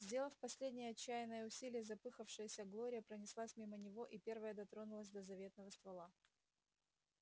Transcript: сделав последнее отчаянное усилие запыхавшаяся глория пронеслась мимо него и первая дотронулась до заветного ствола